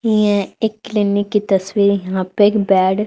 यें एक क्लीनिक की तस्वीर यहां पे एक बेड --